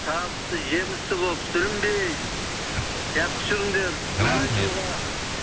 табысты жемісті болып сүрінбей жақсы жүріңдер рахмет